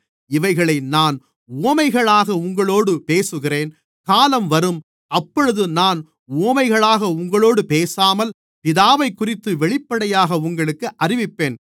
இவைகளை நான் உவமைகளாக உங்களோடு பேசுகிறேன் காலம் வரும் அப்பொழுது நான் உவமைகளாக உங்களோடு பேசாமல் பிதாவைக்குறித்து வெளிப்படையாக உங்களுக்கு அறிவிப்பேன்